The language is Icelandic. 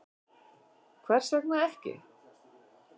Hvers vegna ekki?